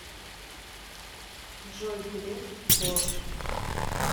джой греф вор